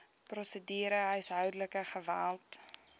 prosedure huishoudelike geweld